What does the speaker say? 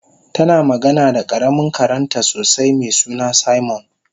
tana magana da karamin karenta sosai mesuna simon